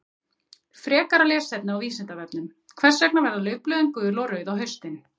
Frekara lesefni á Vísindavefnum: Hvers vegna verða laufblöðin gul og rauð á haustin?